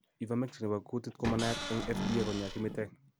Ivermectin nebo kuutit komanaiyat eng' FDA koinyaa kimitek